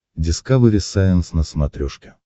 дискавери сайенс на смотрешке